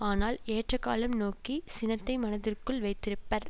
ஆனால் ஏற்ற காலம் நோக்கி சினத்தை மனத்திற்குள் வைத்திருப்பர்